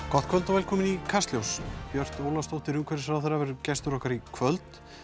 gott kvöld og velkomin í Kastljós Björt Ólafsdóttir umhverfisráðherra verður gestur okkar í kvöld